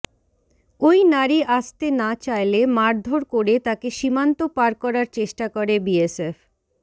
ওই নারী আসতে না চাইলে মারধর করে তাকে সীমান্ত পার করার চেষ্টা করে বিএসএফ